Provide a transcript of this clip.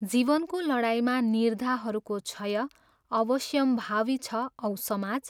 जीवनको लडाइँमा निर्धाहरूको क्षय अवश्यम्भावी छ औ समाज?